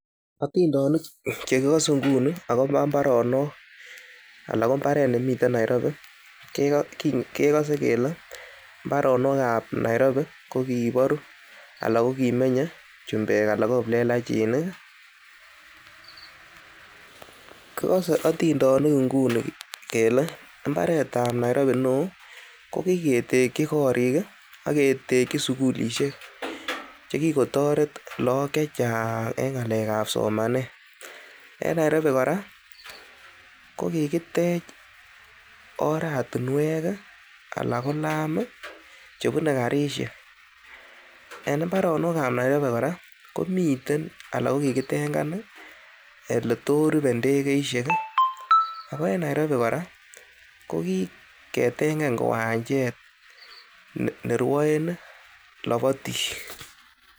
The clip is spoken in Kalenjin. Otindonik che kigose nguni agobo mbaronok ala kombaret nemiten Nairobi kegose kele mbarenik ab Nairobi ko kiboru anan ko kimmenye chumbek anan ko kiplelachinik, kigos eotindonik nguni kele mbaret ab Nairobi neo ko kigeteki korik ak keteki sugulishek che kigotoret lagok che chang en ng'alek ab somanet. En Nairobi kora kokitech oratinwek anan ko laam chebune karishek, en mbarenik ab Nairobi kora komiten ala ko kigitenkan ole to rupe ndegeishek. Ago en Nairobi kora ko kigetengan kiwachet ne rwaen lobotik.